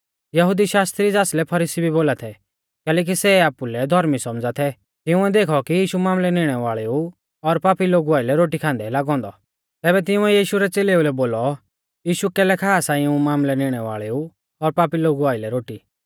यहुदी शास्त्री ज़ासलै फरीसी भी बोला थै कैलैकि सै आपुलै धौर्मी सौमझ़ा थै तिंउऐ देखौ कि यीशु मामलै निणै वाल़ेऊ और पापी लोगु आइलै रोटी खांदै लागौ औन्दौ तैबै तिंउऐ यीशु रै च़ेलेउलै बोलौ यीशु कैलै खा सा इऊं मामलै निणै वाल़ेऊ और पापी लोगु आइलै रोटी